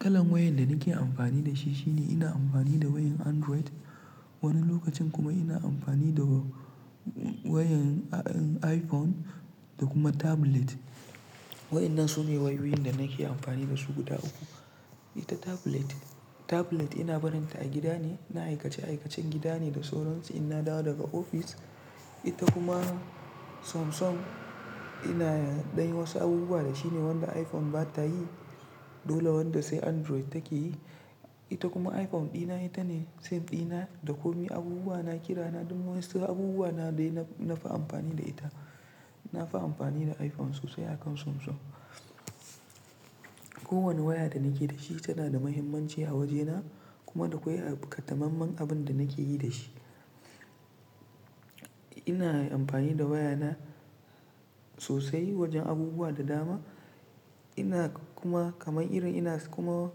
Kalan wayan da nake amfani da shi shine ina amfani da wayan Android. Wani lokacin kuma ina amfani da wayan iPhone da kuma tablet. Wayan nan su ne wayoyin da nake amfani da su guda uku. Ita tablet, tablet ina barinta a gida ne, na aikace aikacen gida ne da sauransu in na dawo daga ofis. Ita kuma Samsung ina ɗan wasu abubuwa da shi ne wanda iPhone bata yi, dole wanda sai Android take yi. Ita kuma iPhone ɗina ita ne save ɗina da komai abubuwa na kira na duk wani sai abubuwa na dai nafi amfani da ita. Nafi amfani da iPhone sosai akan Samsung. Kowane waya da nake da shi tana da muhimmanci a wajena kuma akwai ƙatammamen abun da nake yi da shi. Ina amfani da wayana sosai wajen abubuwa da dama. Ina kuma kamar irin ina kuma,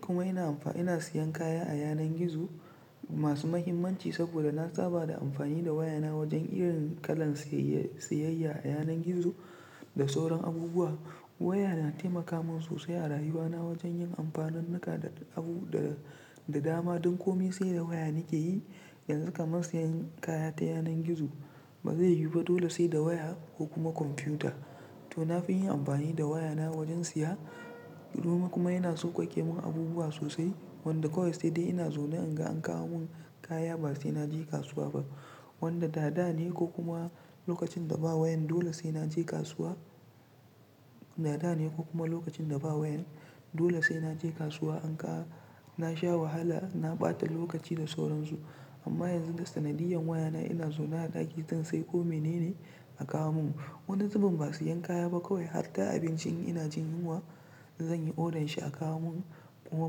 kuma ina amfa-- ina siyan kaya a yanar gizo masu muhimmanci saboda na saba da amfani da wayana wajen irin kalan siyayya a yanar gizo da sauran abubuwa. Waya na taimaka min sosai a rayuwana wajen yin amfanin naka da abu da dama duk komai sai da waya nake yi. Yanzu kamar sayan kaya ta yanar gizo ba zai yiwu ba dole sai da waya ko kuma kwamfuta. To nafi yin amfani da wayana wajen siya. Kuma yana sauƙaƙe min abubuwa sosai wanda kawai sai dai ina zaune inga an kawo mun kaya ba sai na je kasuwa ba. Wanda da dane ko kuma lokacin da ba wayan dole sai na je kasuwa. Da dane ko kuma lokacin da ba wayan dole sai na je kasuwa anga na sha wahala na ɓata lokaci da sauran su. Amma yanzu da sanadiyan wayana ina zauna a ɗaki zan sai komai nene a kawo mun. Wani zubin ba siyan kaya ba kawai har ta abinci in ina jin yunwa zan yi orden shi a kawo mun kuma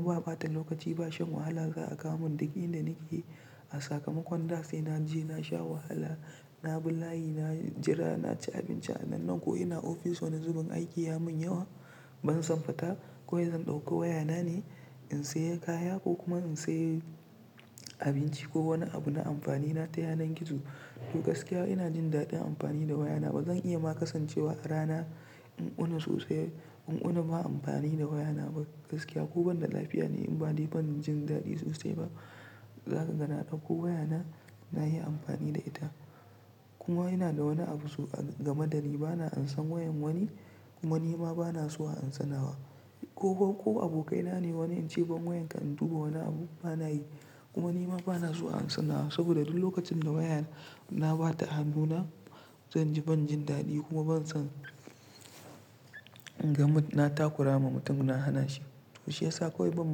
ba ɓata lokaci ba shan wahala za'a kawo mun duk inda nake. A sakamakon da sai na je na sha wahala, na bi layi, na jira, na ci abinci a nan nan ko ina ofis wani zubin aiki ya mun yawa ban san fata kawai zan ɗauko wayana ne in siyan kaya ko kuma in siye abinci ko wani abu na amfani na ta yanar gizo. To gaskiya ina jin daɗin amfani da wayana ba zan iya ma kasancewa a rana in wuni sosai in wuni ba amfani da wayana ba gaskiya. Ko banda lafiya ne in bani ban jin daɗi sosai ba. Zaka ga na ɗauko wayana na yi amfani da ita. Kuma yana da wani abu so-- gama da ni bana ansa wayan wani kuma ni ma bana so a ansanawa. Ko, ko abokaina ne wani yace "ban wayanka in duba wani abu" bana yi. Kuma ni ma bana so a ansanawa saboda duk lokacin da wayana bata hannuna zan ji ban jin daɗi kuma ban san kamar na takura ma mutum na hana shi. To shi yasa kawai ban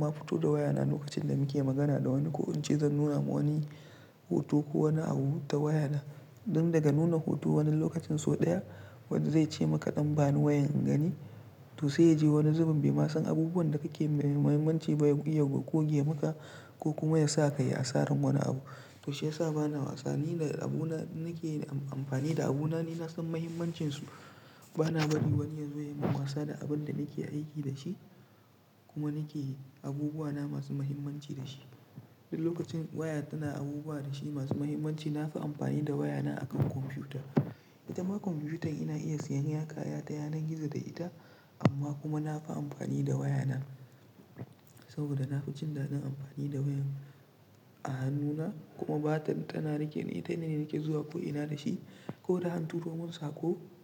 ma fito da wayana lokacin da muke magana da wani ko in ce zan nuna ma wani hoto ko wani abu ta wayana. Don daga nuna hoto wani lokacin sau ɗaya wani zai ce maka "ɗan bani wayan in gani" to sai ya je wani zubin bai ma san abubuwan da kake mai muhimmanci ba ya goge maka ko kuma ya sa ka yi asarar wani abu. To shi yasa bana wasa nina da abuna nake amfani da abuna ne na san muhimmancin su. Bana bari wani yazo ya yi wasa da abun da nake aiki da shi kuma nake abubuwa na masu muhimmanci da shi. Duk lokacin waya tana abubuwa da shi masu muhimmanci nafi amfani da wayana akan kwamfuta. Ita ma kwamfutar ina iya siyan kaya ta yanar gizo da ita amma kuma nafi amfani da wayana saboda nafi jin daɗin amfani da wayan a hannuna kuma bata tana rike ni ita ne nake zuwa ko ina da shi ko da an turo mun saƙo.